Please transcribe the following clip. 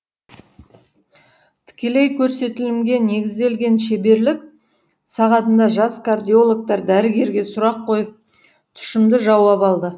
тікелей көрсетілімге негізделген шеберлік сағатында жас кардиологтар дәрігерге сұрақ қойып тұщымды жауап алды